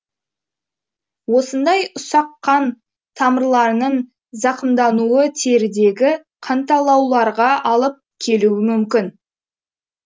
осындай ұсақ қан тамырларының зақымдануы терідегі қанталауларға алып келуі мүмкін